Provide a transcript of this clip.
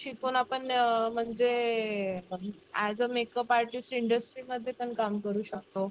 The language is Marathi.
शिकून आपण म्हणजे एज अ मेकअप आर्टिस्ट इंडस्ट्रीमध्ये पण काम करू शकतो.